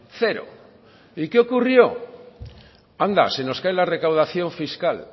cero y qué ocurrió anda se nos cae la recaudación fiscal